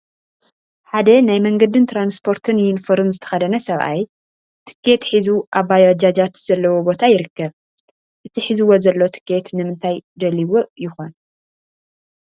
ሓደ ናይ መንገድን ትራንስፖርትን ዩኒፎርም ዝተኸደነ ሰብኣይ ቲኬት ሒዙ ኣብ ባጃጃት ዘለዎ ቦታ ይርከብ፡፡ እቲ ሒዝዎ ዘሎ ቲኬት ንምንታይ ደልዩዎ ይኾን?